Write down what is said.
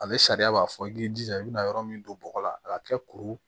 Ale sariya b'a fɔ i k'i jija i bɛna yɔrɔ min don bɔgɔ la a ka kɛ kuru